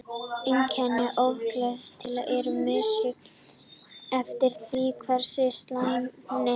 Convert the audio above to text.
Einkenni ofkælingar eru misjöfn eftir því hversu slæm hún er.